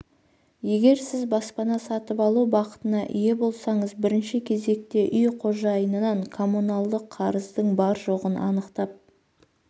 егер сіз баспана сатып алу бақытына ие болсаңыз бірінші кезекте үй қожайынынан коммуналдық қарыздың бар-жоғын анықтап